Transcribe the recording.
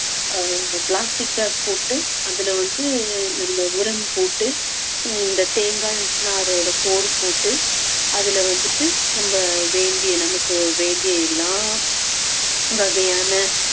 ஆஹ் plastic bag போட்டு அதுல வந்து நம்ம உரம் போட்டு இந்த தேங்காய் நாரோட சோறு போட்டு அதுல வந்துட்டு நம்ம வேண்டிய நமக்கு வேண்டிய எல்லா வகையான